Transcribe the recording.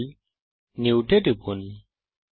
file new এ টিপুন